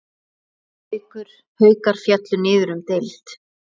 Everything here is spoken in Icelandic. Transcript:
Haukar féllu niður um deild.